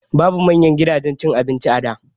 Babu manyan gidajen cin abinci a da